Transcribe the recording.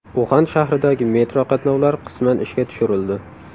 Uxan shahridagi metro qatnovlari qisman ishga tushirildi.